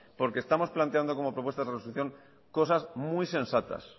porque estamos planteando como propuestas de resolución cosas muy sensatas